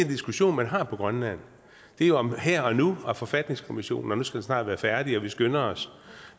diskussion man har på grønland det er jo om her og nu og om at forfatningskommissionen snart skal være færdig og vi skynder os